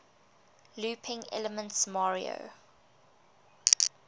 looping elements mario